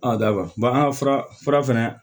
dawari an ka fura fara fɛnɛ